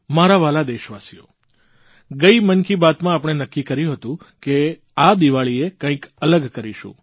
મારા વ્હાલા દેશવાસીઓ ગઇ મન કી બાતમાં આપણે નક્કી કર્યું હતું કે આ દીવાળીએ કંઇક અલગ કરીશું